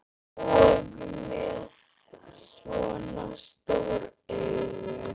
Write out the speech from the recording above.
Og með svona stór augu.